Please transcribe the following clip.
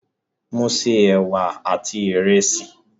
Mo se ẹwà àti ìrẹsì.